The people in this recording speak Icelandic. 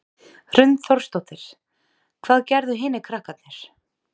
Hrund Þórsdóttir: Hvað gerðu hinir krakkarnir?